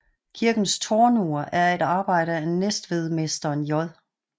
Kirkens tårnur er et arbejde af Næstvedmesteren J